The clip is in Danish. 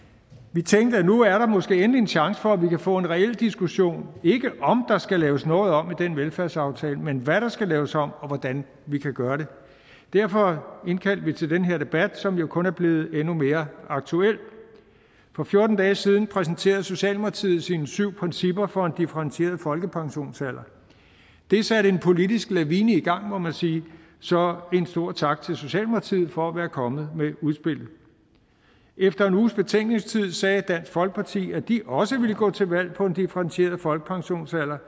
vi tænkte at nu er der måske endelig en chance for at vi kan få en reel diskussion ikke om der skal laves noget om i den velfærdsaftale men hvad der skal laves om og hvordan vi kan gøre det derfor indkaldte vi til den her debat som jo kun er blevet endnu mere aktuel for fjorten dage siden præsenterede socialdemokratiet sine syv principper for en differentieret folkepensionsalder det satte en politisk lavine i gang må man sige så en stor tak til socialdemokratiet for at være kommet med et udspil efter en uges betænkningstid sagde dansk folkeparti at de også ville gå til valg på en differentieret folkepensionsalder